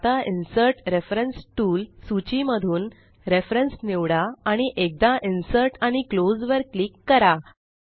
आता insert reference tool सूची मधून रेफरन्स निवडा आणि एकदा इन्सर्ट आणि क्लोज वर क्लिक करा